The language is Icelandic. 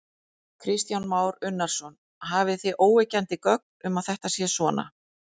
Kristján Már Unnarsson: Hafið þið óyggjandi gögn um að þetta sé svona?